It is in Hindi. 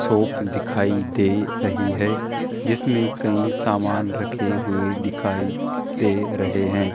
शॉप दिखाई दे रही है जिसमें कई सामान रखे हुए दिखाई दे रहे हैं।